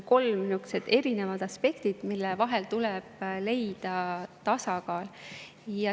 Kolm erinevat aspekti, mille vahel tuleb leida tasakaal.